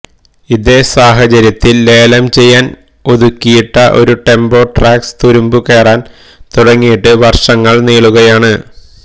ഇതേ സാഹചര്യത്തില് ലേലം ചെയ്യാന് ഒതുക്കിയിട്ട ഒരു ടെംബോ ട്രാക്സ് തുരുമ്പ് കേറാന് തുടങ്ങിയിട്ട് വര്ഷങ്ങള് നീളുകയാണ്